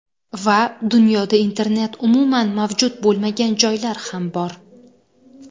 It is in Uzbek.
Va dunyoda internet umuman mavjud bo‘lmagan joylar ham bor.